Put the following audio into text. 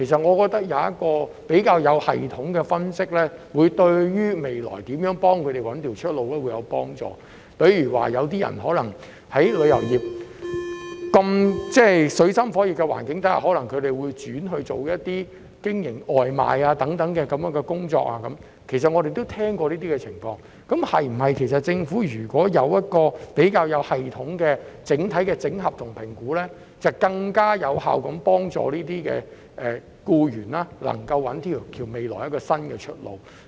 我認為，一個較有系統的分析，將有助當局了解日後應如何協助他們尋找出路，因為有些人可能在經歷旅遊業的水深火熱後，會轉型從事外賣等的其他工作——這些情況我們也曾聽聞——倘若政府有一個較有系統的評估和經整合的整體數據，便能更有效地幫助這些僱員在未來找到新出路。